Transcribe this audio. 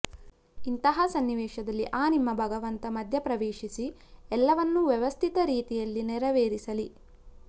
ಇಂತಹ ಸನ್ನಿವೇಶದಲ್ಲಿ ಆ ನಿಮ್ಮ ಭಗವಂತ ಮಧ್ಯ ಪ್ರವೇಶಿಸಿ ಎಲ್ಲವನ್ನೂ ವ್ಯವಸ್ಥಿತ ರೀತಿಯಲ್ಲಿ ನೆರವೇರಿಸಲಿ